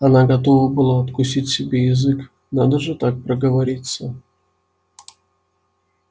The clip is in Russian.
она готова была откусить себе язык надо же так проговориться